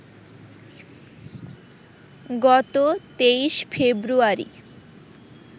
গত ২৩ ফেব্রুয়ারি